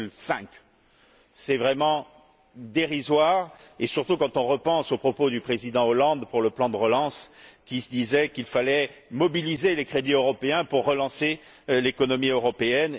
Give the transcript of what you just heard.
4,5. C'est vraiment dérisoire, surtout quand on repense aux propos du Président Hollande pour le plan de relance, selon lesquels il fallait mobiliser les crédits européens pour relancer l'économie européenne.